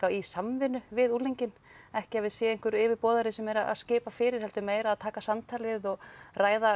í samvinnu við unglinginn ekki að við séum einhver yfirboðari sem er að skipa fyrir heldur meira að taka samtalið og ræða